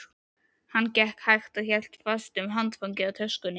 Hann gekk hægt og hélt fast um handfangið á töskunni.